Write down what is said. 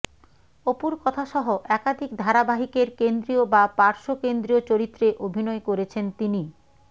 অপুর কথা সহ একাধিক ধারাবাহিকের কেন্দ্রীয় বা পার্শ্বকেন্দ্রীয় চরিত্রে অভিনয় করেছেন তিনি